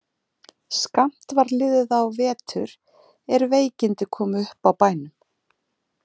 Skammt var liðið á vetur er veikindi komu upp á bænum.